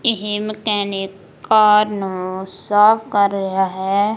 ਇਹ mechanic car ਨੂੰ ਸਾਫ ਕਰ ਰਿਹਾ ਹੈ।